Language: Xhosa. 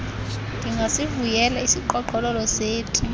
ndingasivuyela isiqhoqhololo seti